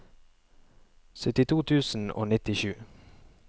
syttito tusen og nittisju